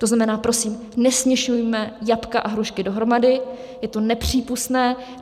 To znamená, prosím, nesměšujme jablka a hrušky dohromady, je to nepřípustné.